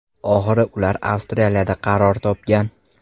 Oxiri ular Avstraliyada qaror topgan.